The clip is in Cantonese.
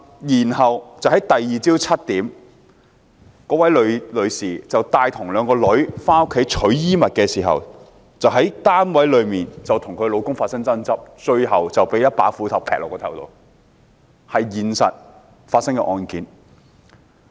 翌日早上7時，該位女士帶同兩名女兒回家拿取衣物，在寓所內跟丈夫發生爭執，最後被斧頭劈中，這是現實中發生的案件。